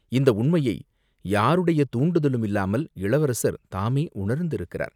இந்த உண்மையை யாருடைய தூண்டுதலுமில்லாமல் இளவரசர் தாமே உணர்ந்திருக்கிறார்.